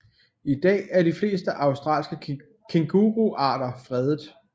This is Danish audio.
I dag er de fleste australske kænguruarter fredet